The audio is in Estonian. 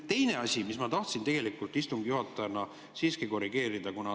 Teine asi, mida ma tahtsin, istungi juhataja, siiski korrigeerida.